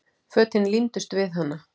Fötin límdust við hana.